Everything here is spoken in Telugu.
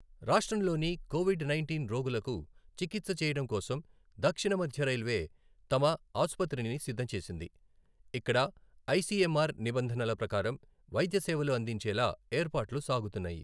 రాష్ట్రంలోని కోవిడ్ నైంటీన్ రోగులకు చికిత్స చేయడం కోసం దక్షిణ మధ్య రై్ల్వే తమ ఆసుపత్రిని సిద్ధం చేసింది. ఇక్కడ ఐసీఎంఆర్ నిబంధనల ప్రకారం వైద్య సేవలు అందించేలా ఏర్పాట్లు సాగుతున్నాయి.